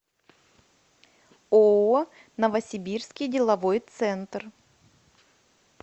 ооо новосибирский деловой центр